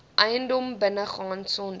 eiendom binnegaan sonder